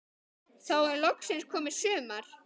Þá er loksins komið sumar.